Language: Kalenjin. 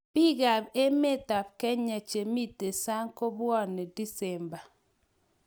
Biikab emetab Kenya che mito sang ko bwoni disemba